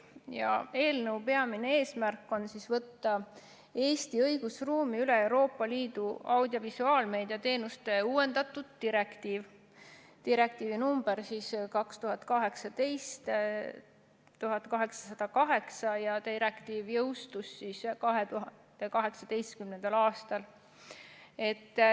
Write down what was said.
Selle eelnõu peamine eesmärk on võtta Eesti õigusruumi üle Euroopa Liidu audiovisuaalmeedia teenuste uuendatud direktiiv number 2018/1808, mis jõustus 2018. aastal.